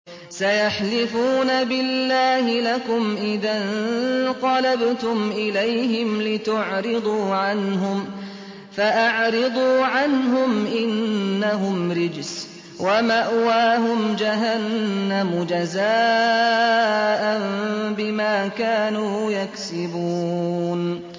سَيَحْلِفُونَ بِاللَّهِ لَكُمْ إِذَا انقَلَبْتُمْ إِلَيْهِمْ لِتُعْرِضُوا عَنْهُمْ ۖ فَأَعْرِضُوا عَنْهُمْ ۖ إِنَّهُمْ رِجْسٌ ۖ وَمَأْوَاهُمْ جَهَنَّمُ جَزَاءً بِمَا كَانُوا يَكْسِبُونَ